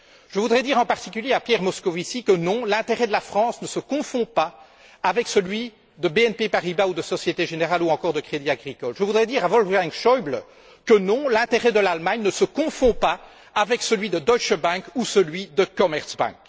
Je voudrais dire en particulier à Pierre Moscovici que, non, l'intérêt de la France ne se confond pas avec celui de BNP Paribas ou de la Société générale, ou encore du Crédit agricole. Je voudrais dire à Wolfgang Schäuble que, non, l'intérêt de l'Allemagne ne se confond pas avec celui de la Deutsche Bank ou celui de la Commerzbank.